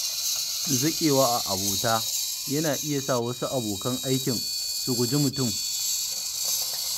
zaƙewa a abota yana iya sa wasu abokan aikin su guji mutum.